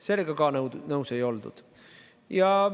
Sellega ka nõus ei oldud.